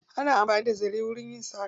Ana amfani da zare wajen yin saƙa.